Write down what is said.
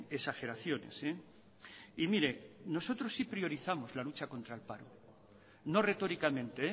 exageraciones y mire nosotros sí priorizamos la lucha contra el paro no retóricamente